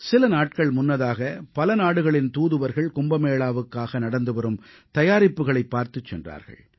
சில நாட்கள் முன்னதாக பல நாடுகளின் தூதுவர்கள் கும்பமேளாவுக்காக நடந்துவரும் தயாரிப்புக்களைப் பார்த்துச் சென்றார்கள்